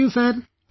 Thank you sir